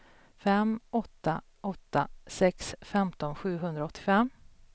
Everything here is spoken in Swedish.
fem åtta åtta sex femton sjuhundraåttiofem